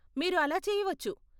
మీరు అలా చేయవచ్చు.